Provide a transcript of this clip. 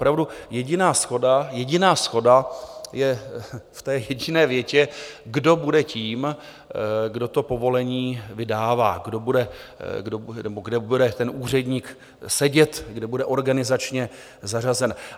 Opravdu, jediná shoda, jediná shoda je v té jediné větě, kdo bude tím, kdo to povolení vydává, kde bude ten úředník sedět, kde bude organizačně zařazen.